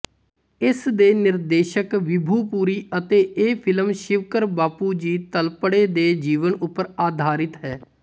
ਇਸਦੇ ਨਿਰਦੇਸ਼ਕ ਵਿਭੂ ਪੁਰੀ ਅਤੇ ਇਹ ਫਿਲਮ ਸ਼ਿਵਕਰ ਬਾਪੁਜੀ ਤਲਪੜੇ ਦੇ ਜੀਵਨ ਉੱਪਰ ਆਧਾਰਿਤ ਹੈ